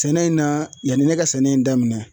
Sɛnɛ in na yanni ne ka sɛnɛ in daminɛn